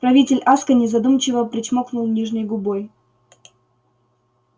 правитель аскони задумчиво причмокнул нижней губой